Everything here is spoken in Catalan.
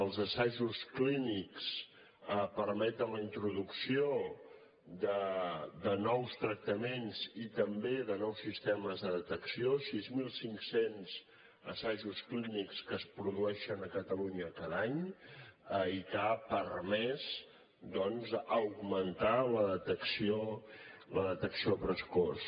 els assajos clínics permeten la introducció de nous tractaments i també de nous sistemes de detecció sis mil cinc cents assajos clínics que es produeixen a catalunya cada any i que han permès doncs augmentar la detenció precoç